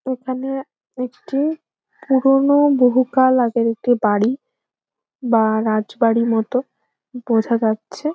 এখানে একটি পুরনো বহু কাল আগের একটি বাড়ি বা রাজবাড়ি মতো বোঝা যাচ্ছে।